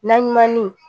Naɲumanni